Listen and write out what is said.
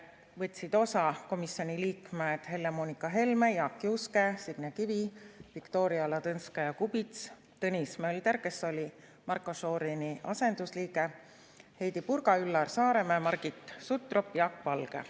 Võtsid osa komisjoni liikmed Helle-Moonika Helme, Jaak Juske, Signe Kivi, Viktoria Ladõnskaja-Kubits, Tõnis Mölder, kes oli Marko Šorini asendusliige, Heidy Purga, Üllar Saaremäe, Margit Sutrop ja Jaak Valge.